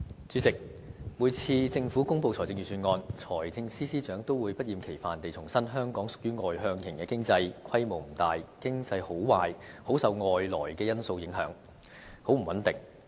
主席，每次政府公布財政預算案時，財政司司長都會不厭其煩地重申香港屬於外向型經濟，規模不大，經濟好壞很受外來因素影響，非常不穩定。